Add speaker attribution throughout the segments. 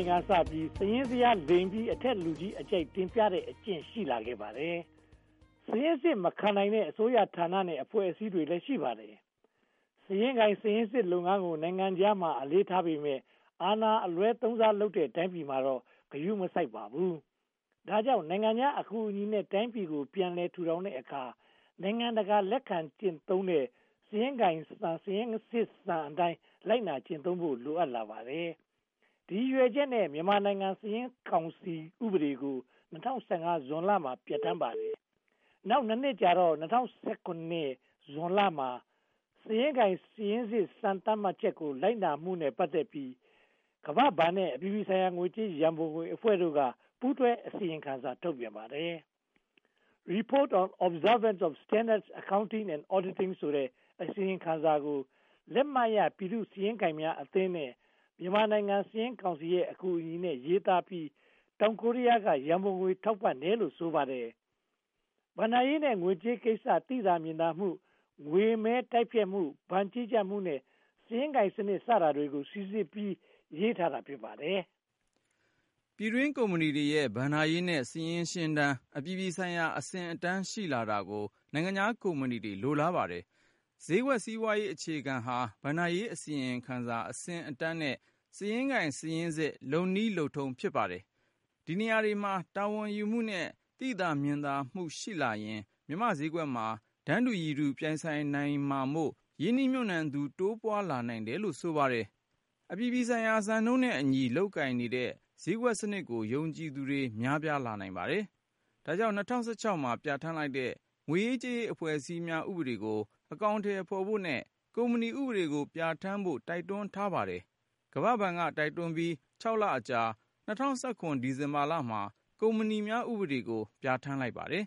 Speaker 1: န်ကစပြီး စာရင်းဇယားလိမ်ပြီး အထက်ကလူကြီးအကြိုက် တင်ပြတဲ့ အကျင့်ရှိလာခဲ့ပါတယ်။ စာရင်းစစ်မခံနိုင်တဲ့ အစိုးရဌာနနဲ့ အဖွဲ့အစည်းတွေလည်း ရှိပါတယ်။ စာရင်းကိုင်စာရင်းစစ်လုပ်ငန်းကို နိုင်ငံခြားမှာ အလေးထားပေမယ့် အာဏာအလွဲသုံးစားလုပ်တဲ့ တိုင်းပြည်မှာတော့ ဂရုမစိုက်ပါဘူး။ ဒါကြောင့် နိုင်ငံခြားအကူအညီနဲ့ တိုင်းပြည်ကို ပြန်လည်ထူထောင်တဲ့အခါ နိုင်ငံတကာလက်ခံကျင့်သုံး စာရင်းကိုင်စံနဲ့ စာရင်းစစ်စံအတိုင်း လိုက်နာကျင့်သုံးဖို့ လိုအပ်လာပါတယ်။ ဒီရည်ရွယ်ချက်နဲ့ မြန်မာနိုင်ငံစာရင်းကောင်စီ ဥပဒေကို ၂၀၁၅ ဇွန်လမှာ ပြဌာန်းပါတယ်။ နောက် (၂) နှစ်ကြာတော့ ၂၀၁၇ ဇွန်လမှာ စာရင်းကိုင်စာရင်းစစ် စံသတ်မှတ်ချက်ကို လိုက်နာမှုနဲ့ ပတ်သက်ပြီး ကမ္ဘာ့ဘဏ်နဲ့ အပြည်ပြည်ဆိုင်ရာ ငွေကြေးရန်ပုံငွေအဖွဲ့တို့က ပူးတွဲအစီရင်ခံစာ ထုတ်ပြန်ပါတယ်။ Report on Observance of Standards, Accounting and Auditing ဆိုတဲ့ အစီရင်ခံစာကို လက်မှတ်ရ ပြည်သူ့စာရင်းကိုင်အသင်းနဲ့ မြန်မာနိုင်ငံစာရင်းကောင်စီရဲ့ အကူအညီနဲ့ ရေးသားပြီး တောင်ကိုရီးယားက ရန်ပုံငွေ ထောက်ပံ့တယ်လို့ ဆိုပါတယ်။ ဘဏ္ဍာရေးနဲ့ ငွေကြေးကိစ္စ သိသာမြင်သာမှု၊ ငွေမဲတိုက်ဖျက်မှု၊ ဘဏ်ကြီးကြပ်မှုနဲ့ စာရင်းကိုင်စနစ် စတာတွေကို စီစစ်ပြီး ရေးသားတာ ဖြစ်ပါတယ်။
Speaker 2: ပြည်တွင်းကုမ္ပဏီတွေရဲ့ ဘဏ္ဍာရေးနဲ့ စာရင်းရှင်းတမ်း အပြည်ပြည်ဆိုင်ရာ အဆင့်အတန်းရှိလာတာကို နိုင်ငံခြားကုမ္ပဏီတွေ လိုလားပါတယ်။ ဈေးကွက်စီးပွားရေးအခြေခံဟာ ဘဏ္ဍာရေးအစီရင်ခံစာ အဆင့်အတန်းနဲ့ စာရင်းကိုင်စာရင်းစစ် လုပ်နည်းလုပ်ထုံး ဖြစ်ပါတယ်။ ဒီနေရာတွေမှာ တာဝန်ယူမှုနဲ့ သိသာမြင်သာမှု ရှိလာရင် မြန်မာ့ဈေးကွက်မှာ တန်းတူရည်တူ ပြိုင်ဆိုင်နိုင်မှာမို့ ရင်းနှီးမြုပ်နံှသူ တိုးပွားလာနိုင်တယ်လို့ ဆိုပါတယ်။ အပြည်ပြည်ဆိုင်ရာ စံနှုန်းနဲ့အညီ လုပ်ကိုင်နေတဲ့ ဈေးကွက်စနစ်ကို ယုံကြည်သူတွေ များပြားလာနိုင်ပါတယ်။ ဒါကြောင့် ၂၀၁၆ မှာ ပြဌာန်းလိုက်တဲ့ ငွေရေးကြေးရေး အဖွဲ့အစည်းများ ဥပဒေကို အကောင်အထည်ဖော်ဖို့နဲ့ ကုမ္ပဏီဥပဒေကို ပြဌာန်းဖို့ တိုက်တွန်းထားပါတယ်။ ကမ္ဘာ့ဘဏ်က တိုက်တွန်းပြီး (၆) လအကြာ ၂၀၁၇ ဒီဇင်ဘာလမှာ ကုမ္ပဏီများဥပဒေကို ပြဌာန်းလိုက်ပါတယ်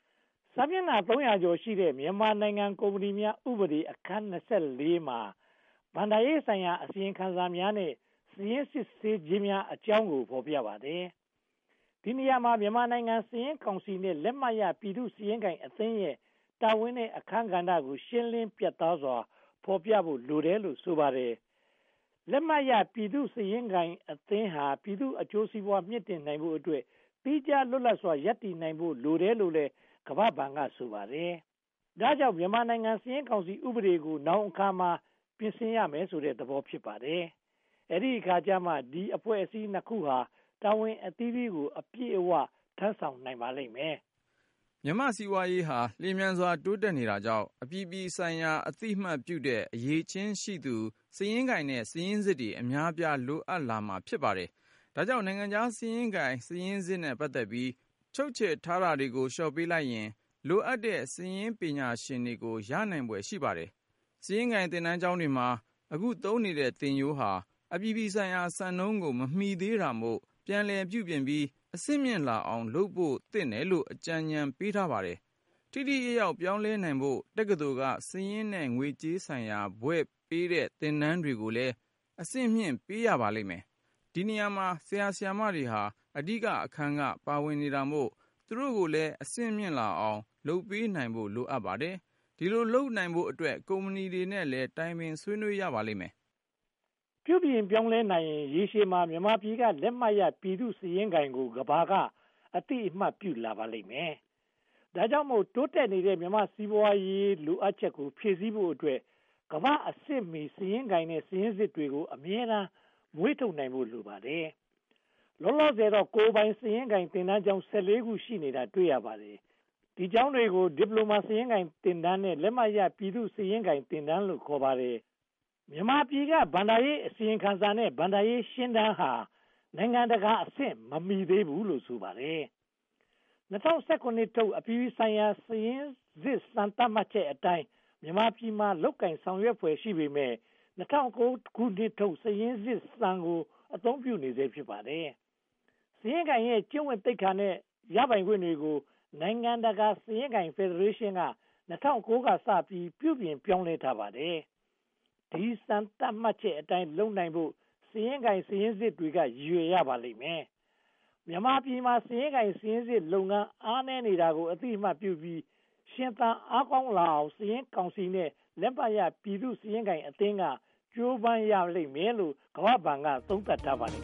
Speaker 1: ။ စာမျက်နှာ (၃၀၀) ကျော်ရှိတဲ့ မြန်မာနိုင်ငံကုမ္ပဏီများ ဥပဒေအခန်း (၂၄) မှာ ‘ဘဏ္ဍာရေးဆိုင်ရာ အစီရင်ခံစာများ နှင့် စာရင်းစစ်ဆေးခြင်းများအကြောင်း’ ကို ဖော်ပြထားပါတယ်။ ဒီနေရာမှာ မြန်မာနိုင်ငံစာရင်းကောင်စီနဲ့ လက်မှတ်ရ ပြည်သူ့စာရင်းကိုင်အသင်းရဲ့ တာဝန်နဲ့အခန်းကဏ္ဍတွေကို ရှင်းလင်းပြတ်သားစွာ ဖော်ပြဖို့လိုတယ်လို့ ဆိုပါတယ်။ လက်မှတ်ရ ပြည်သူ့စာရင်းကိုင်အသင်းဟာ ပြည်သူ့အကျိုးစီးပွား မြှင့်တင်နိုင်ဖို့အတွက် သီးခြားလွတ်လပ်စွာ ရပ်တည်နိုင်ဖို့ လိုတယ်လို့လည်း ကမ္ဘာ့ဘဏ်က ဆိုပါတယ်။ ဒါကြောင့် ‘မြန်မာနိုင်ငံ စာရင်းကောင်စီ’ ဥပဒေကို နောင်အခါမှာ ပြင်ဆင်ရမယ်လို့ ဆိုတဲ့သဘော ဖြစ်ပါတယ်။ အဲဒီအခါကျမှ ဒီအဖွဲ့အစည်းနှစ်ခုဟာ တာဝန်အသီးသီးကို အပြည့်အဝထမ်းဆောင်နိုင်ပါလိမ့်မယ်
Speaker 2: ။ မြန်မာ့စီးပွားရေးဟာ လျှင်မြန်တိုးတက်နေတာကြောင့် အပြည်ပြည်ဆိုင်ရာ အသိအမှတ်ပြုတဲ့ အရည်အချင်းရှိသူ စာရင်းကိုင်နဲ့ စာရင်းစစ်တွေ အများအပြား လိုအပ်လာမှာ ဖြစ်ပါတယ်။ ဒါကြောင့် နိုင်ငံခြားစာရင်းကိုင် စာရင်းစစ်နဲ့ ပတ်သက်ပြီး ချုပ်ချယ်ကန့်သတ်ထားတာတွေကို လျှော့ပေးလိုက်ရင် လိုအပ်တဲ့ စာရင်းပညာရှင်တွေကို ရနိုင်ဖွယ် ရှိပါတယ်။ စာရင်းကိုင်သင်တန်းကျောင်းတွေမှာ အခု သုံးနေတဲ့ သင်ရိုးဟာ အပြည်ပြည်ဆိုင်ရာ စံနှုန်းကို မမီသေးတာမို့ ပြန်လည်ပြုပြင်ပြီး အဆင့်မြင့်လာအောင် လုပ်ဖို့သင့်တယ်လို့ အကြံဉာဏ်ပေးထားပါတယ်။ ထိထိရောက်ရောက် ပြောင်းလဲနိုင်ဖို့ တက္ကသိုလ်က စာရင်းနဲ့ ငွေကြေးဆိုင်ရာ ဘွဲ့ပေးတဲ့ သင်တန်းတွေကိုလည်း အဆင့်မြှင့်ပေးရပါလိမ့်မယ်။ ဒီနေရာမှာ ဆရာ၊ ဆရာမတွေဟာ အဓိက အခန်းက ပါဝင်နေတာမို့ သူတို့ကိုလည်း အဆင့်မြင့်လာအောင် လုပ်ပေးနိုင်ဖို့ လိုအပ်ပါတယ်။ ဒီလို လုပ်နိုင်ဖို့အတွက် ကုမ္ပဏီတွေနဲ့လည်း တိုင်ပင်ဆွေးနွေးရပါလိမ့်မယ်
Speaker 1: ။ ပြုပြင်ပြောင်းလဲနိုင်ရင် ရေရှည်မှာ မြန်မာပြည်က လက်မှတ်ရ ပြည်သူ့စာရင်းကိုင်ကို ကမ္ဘာ့က အသိအမှတ် ပြုလာရပါလိမ့်မယ်။ ဒါကြောင့်မို့ တိုးတက်နေတဲ့ မြန်မာ့စီးပွားရေး လိုအပ်ချက်ကို ဖြည့်ဆည်းဖို့အတွက် ကမ္ဘာ့အဆင့်မီ စာရင်းကိုင်နဲ့ စာရင်းစစ်တွေကို အမြဲတမ်း မွေးထုတ်နိုင်ဖို့ လိုပါတယ်။ လောလောဆယ်တော့ ကိုယ်ပိုင်စာရင်းကိုင် သင်တန်းကျောင်း (၁၄) ကျောင်း ရှိနေတာ တွေ့ရပါတယ်။ ဒီကျောင်းတွေကို ဒီပလိုမာ စာရင်းကိုင်သင်တန်းနဲ့ လက်မှတ်ရပြည်သူ့စာရင်းကိုင် သင်တန်းလို့ ခေါ်ပါတယ်။ မြန်မာပြည်က ဘဏ္ဍာရေးအစီရင်ခံစာနဲ့ ဘဏ္ဍာရေးရှင်းတမ်းဟာ နိုင်ငံတကာအဆင့် မမီသေးဘူးလို့ ဆိုပါတယ်။ ၂၀၁၇ ထုတ် အပြည်ပြည်ဆိုင်ရာ စာရင်းစစ်စံ သတ်မှတ်ချက်အတိုင်း မြန်မာပြည်မှာ လုပ်ကိုင်ဆောင်ရွက်ဖွယ် ရှိပေမယ့် ၂၀၀၉ ခုနှစ်ထုတ် စာရင်းစစ်စံကို အသုံးပြုနေဆဲ ဖြစ်ပါတယ်။ စာရင်းကိုင်ရဲ့ ကျင့်ဝတ်သိက္ခာနဲ့ ရပိုင်ခွင့်တွေကို နိုင်ငံတကာ စာရင်းကိုင် ဖယ်ဒရေးရှင်းက ၂၀၀၉ က စပြီး ပြုပြင်ပြောင်းလဲထားပါတယ်။ ဒီ စံသတ်မှတ်ချက်အတိုင်း လုပ်နိုင်ဖို့ စာရင်းကိုင် စာရင်းစစ်တွေက ရည်ရွယ်ရပါလိမ့််မယ်။ မြန်မာပြည်မှာ စာရင်းကိုင်စာရင်းစစ်လုပ်ငန်း အားနည်းနေတာကို အသိအမှတ်ပြုပြီး ရှင်သန်အားကောင်းလာအောင် စာရင်းကောင်စီနဲ့ လက်မှတ်ရ ပြည်သူ့စာရင်းကိုင်အသင်းက ကြိုးပမ်းရမယ်လို့ ကမ္ဘာ့ဘဏ်က သုံးသပ်ထားပါတယ်